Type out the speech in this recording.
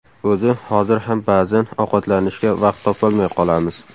O‘zi hozir ham ba’zan ovqatlanishga vaqt topolmay qolamiz.